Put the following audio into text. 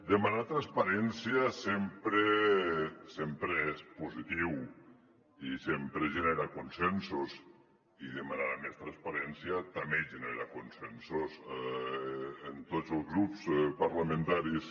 demanar transparència sempre sempre és positiu i sempre genera consensos i demanar més transparència també genera consensos en tots els grups parlamentaris